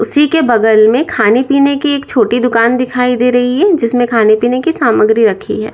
उसी के बगल में खाने पीने की एक छोटी दुकान दिखाई दे रही है जिसमें खाने पीने की सामग्री रखी है।